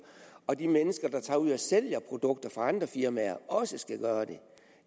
og at de mennesker der tager ud og sælger produkter for andre firmaer også skal gøre det